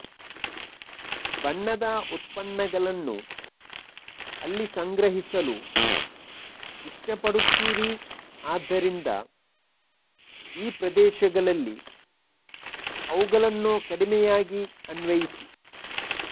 ಬಣ್ಣದ ಉತ್ಪನ್ನಗಳನ್ನು ಅಲ್ಲಿ ಸಂಗ್ರಹಿಸಲು ಇಷ್ಟಪಡುತ್ತೀರಿ ಆದ್ದರಿಂದ ಈ ಪ್ರದೇಶಗಳಲ್ಲಿ ಅವುಗಳನ್ನು ಕಡಿಮೆಯಾಗಿ ಅನ್ವಯಿಸಿ